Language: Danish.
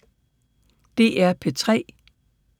DR P3